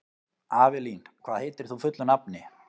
Avelín, hvað heitir þú fullu nafni?